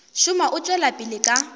šoma o tšwela pele ka